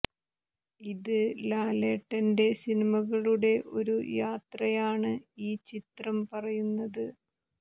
ഇത് ലാലേട്ടന്റെ സിനിമകളുടെ ഒരു യാത്രയാണ് ഈ ചിത്രം പറയുന്നത്